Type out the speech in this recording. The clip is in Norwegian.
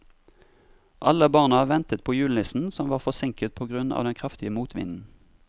Alle barna ventet på julenissen, som var forsinket på grunn av den kraftige motvinden.